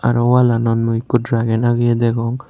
aro wall anot mui ekku dragon ageyi degong.